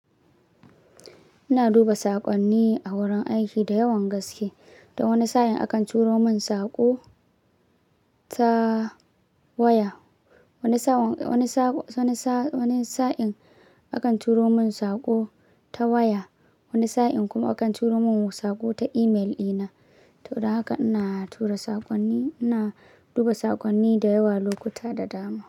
Ina duba saƙonni a wurin aiki da yawan gaske. Don wani sa'in a kan turo mun saƙo, ta waya, wani sa'in kuma akan turo mun saƙo ta email dina. To, don haka ina tura saƙonni, ina duba saƙonni da yawa lokuta da dama.